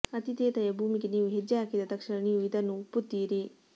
ಆತಿಥೇಯ ಭೂಮಿಗೆ ನೀವು ಹೆಜ್ಜೆ ಹಾಕಿದ ತಕ್ಷಣ ನೀವು ಇದನ್ನು ಒಪ್ಪುತ್ತೀರಿ